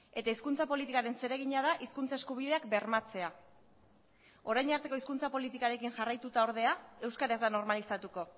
eta hizkuntza politikaren zeregina da hizkuntza eskubideak bermatzea orain arteko hizkuntza politikarekin jarraituta ordea euskara ez da normalizatuko